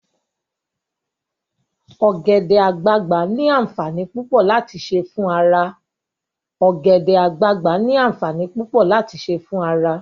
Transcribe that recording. Ogbede-agbagba ni aanfanii pupo lati se fun ara